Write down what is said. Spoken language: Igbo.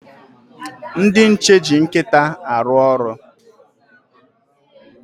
Ndị nche eji nkịta arụ ọrụ.